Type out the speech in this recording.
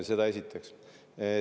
Seda esiteks.